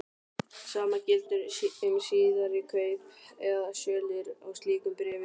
Sama gildir um síðari kaup eða sölur á slíkum bréfum.